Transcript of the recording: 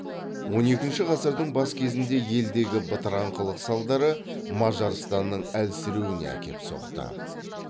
он екінші ғасырдың бас кезінде елдегі бытыраңқылық салдары мажарстанның әлсіреуіне әкеп соқты